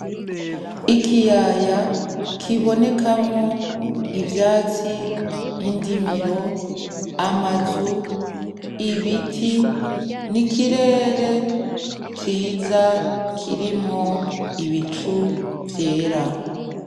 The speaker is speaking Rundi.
Ikiyaya kibonekamwo ivyatsi, indimiro, amazu, ibiti n'ikirere ciza kirimwo ibicu vyera.